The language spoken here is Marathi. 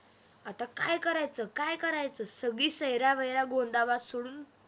आता काय करायचं, काय करायचं सगळी सैरावैरा गोंधाबाद सोडून